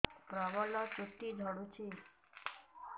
ପ୍ରବଳ ଚୁଟି ଝଡୁଛି